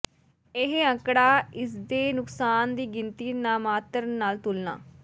ਇਹ ਅੰਕੜਾ ਇਸ ਦੇ ਨੁਕਸਾਨ ਦੀ ਗਿਣਤੀ ਨਾਮਾਤਰ ਨਾਲ ਤੁਲਨਾ